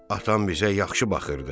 Atam bizə yaxşı baxırdı.